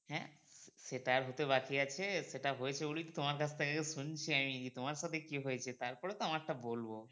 হ্যাঁ? সেটা আর হতে বাকি আছে, সেইটা হয়েছে বলেই তো তোমার কাছ থেকে শুনছি আমি তোমার সাথে কি হয়েছে তারপরে তো আমারটা বলবো।